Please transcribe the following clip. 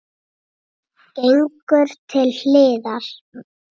Gengur til hliðar.